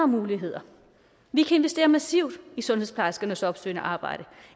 muligheder vi kan investere massivt i sundhedsplejerskernes opsøgende arbejde